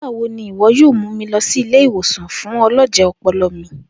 Nigbawo ni iwọ yoo mu mi lọ si ile-iwosan fun ọlọjẹ ọpọlọ mi.